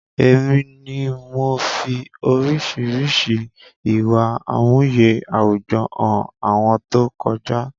Èmi ni mo fi oríṣiríṣi ìwà àmúye àwùjọ hàn àwọn tó kọjá